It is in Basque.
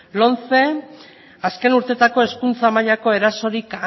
lomce azken urteetako hezkuntza mailako erasorik